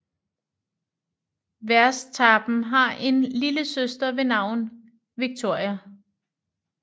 Verstappen har en lille søster ved navn Victoria